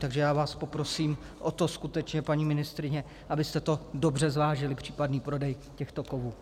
Takže já vás poprosím o to skutečně, paní ministryně, abyste to dobře zvážili, případný prodej těchto kovů.